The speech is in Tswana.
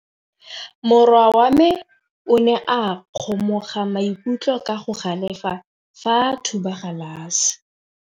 Morwa wa me o ne a kgomoga maikutlo ka go galefa fa a thuba galase.